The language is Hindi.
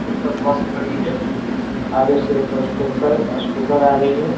फूट पर बस खड़ी है आगे से एक स्कूटर आ रही है ।